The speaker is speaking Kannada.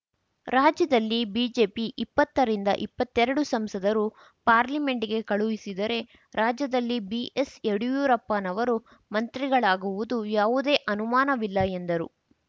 ರಾಜ್ಯದಲ್ಲಿ ಬಿಜೆಪಿ ಇಪ್ಪತ್ತ ರಿಂದ ಇಪ್ಪತ್ತೆರಡು ಸಂಸದರು ಪಾರ್ಲಿಮೆಂಟ್‍ಗೆ ಕಳುಹಿಸಿದರೆ ರಾಜ್ಯದಲ್ಲಿ ಬಿಎಸ್ಯಡಿಯೂರಪ್ಪನವರು ಮಂತ್ರಿಗಳಾಗುವುದು ಯಾವುದೇ ಅನುಮಾನವಿಲ್ಲ ಎಂದರು